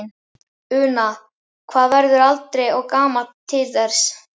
Una: Maður verður aldrei og gamall til þess?